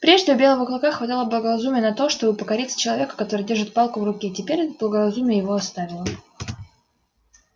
прежде у белого клыка хватало благоразумия на то чтобы покориться человеку который держит палку в руке теперь же это благоразумие его оставило